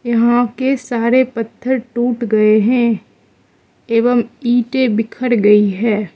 यहां के सारे पत्थर टूट गए हैं एवं इंटे बिखर गई है।